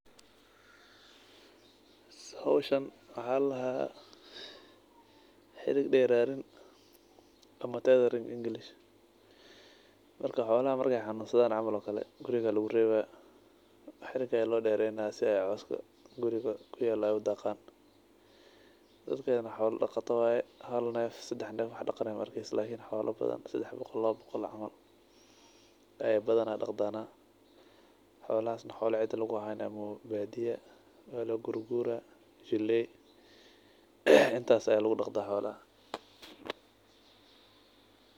Hoshani waxa ladaha xariq deranin ama teathering english marka xoolaha markay xanusadhan camal ookale guriga lagurewa xariga aya loo derayna sidha cooska guriga kuyalo ay udagan. dakaan xoolo dagata waye haal neef ama sadax neef waxa daganayo maa arkesit lakin xoolo badhan sadax boqol, lawa boqol camal ay badhana dagdaana xoolahaas xoolo cida laguhanayo maaha baadiya aa loguguraa intaas aa lagudagdaa xoolaha.